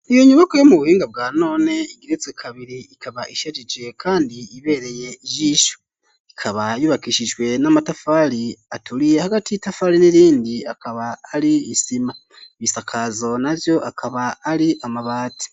Iyo nyukwa yo mu buhinga bwa none igeretswe kabiri ikaba ishajije kandi ibereye ijisho ikaba yubakishijwe n'amatafari aturiye hagati y'itafari n'irindi akaba ari isima, ibisakazo na vyo akaba ari amabati.